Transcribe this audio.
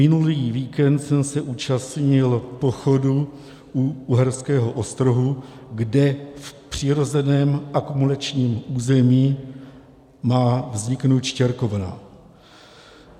Minulý víkend jsem se účastnil pochodu u Uherského Ostrohu, kde v přirozeném akumulačním území má vzniknout štěrkovna.